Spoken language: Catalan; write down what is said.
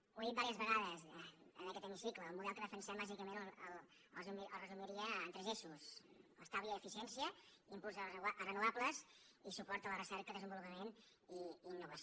ho he dit diverses vegades en aquest hemicicle el model que defensem bàsicament el resumiria en tres eixos estalvi i eficiència impuls dels renovables i suport a la recerca desenvolupament i innovació